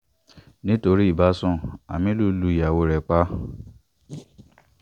nítorí ìbásun aminu lu ìyàwó ẹ̀ pa